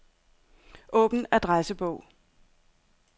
Åbn adressebog.